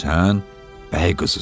Sən bəy qızısan.